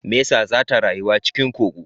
Mesa zata rayuwa cikin kogo